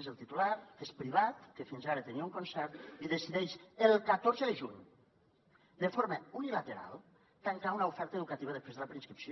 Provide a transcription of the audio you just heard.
és el titular que és privat que fins ara tenia un concert i decideix el catorze de juny de forma unilateral tancar una oferta educativa després de la preinscripció